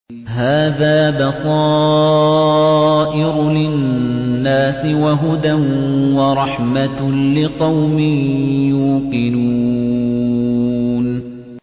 هَٰذَا بَصَائِرُ لِلنَّاسِ وَهُدًى وَرَحْمَةٌ لِّقَوْمٍ يُوقِنُونَ